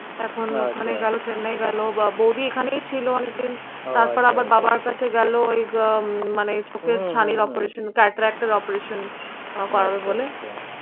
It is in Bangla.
এখন ওখানে গেলো চেন্নাই গেল বা বৌদি এখানেই ছিলো অনেক দিন তারপর আবার বাবার কাছে গেলো ওই আহ উম মানে চোখের ছানির operation cataract এর operation আহ করাবে বলে